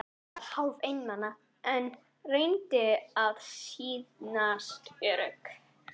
Ég var hálf einmana, en reyndi að sýnast ör- ugg.